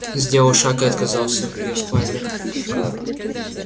сделал шаг и отказался в её спальне